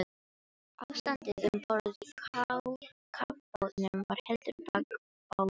Ástandið um borð í kafbátnum var heldur bágborið.